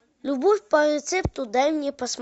любовь по рецепту дай мне